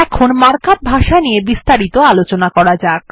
এখন মার্কআপ ভাষা নিয়ে বিস্তারিত আলোচনা করা যাক